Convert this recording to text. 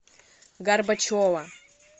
горбачева